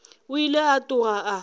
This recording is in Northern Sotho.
o ile a tloga a